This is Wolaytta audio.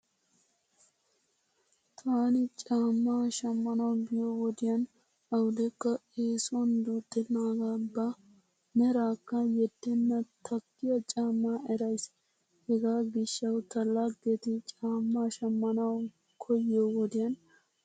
Taani caamma shammanwu biyo wodiyan awudekka eesuwan duuxxennaagaa ba meraakkaa yeddennan takkiyaa caammaa erays. Hegaa gishshawu ta laggeti caammaa shammanawu koyiyo wodiyan tana hindda goosona.